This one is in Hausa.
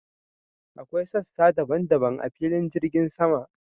Akwai sassa daban daban a filin jirgin sama.